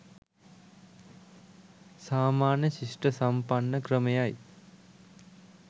සාමාන්‍ය ශිෂ්ට සම්පන්න ක්‍රමය යි